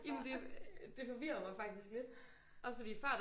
Ja men det det forvirrer mig faktisk lidt også fordi før der